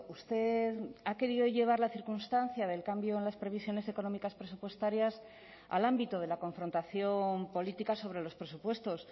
usted ha querido llevar la circunstancia del cambio en las previsiones económicas presupuestarias al ámbito de la confrontación política sobre los presupuestos